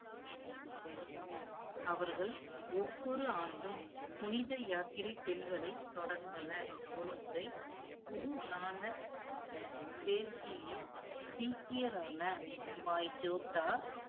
அவர்கள் ஒவ்வொரு ஆண்டும், புனித யாத்திரை செல்வதை தொடர்ந்தனர். ஒருமுறை, குரு நானக் தேவ்ஜி, சீக்கியரான பாய் ஜோத்தா